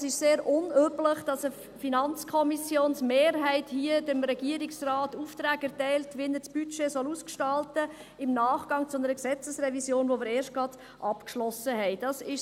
Es ist sehr unüblich, dass eine FiKo-Mehrheit hier dem Regierungsrat Aufträge im Nachgang zu einer Gesetzesrevision, die wir erst gerade abgeschlossen haben, erteilt und ihm sagt, wie er das Budget ausgestalten soll.